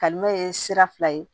Kalimɛ ye sira fila ye